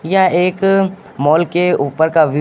यह एक मॉल के ऊपर का व्यू --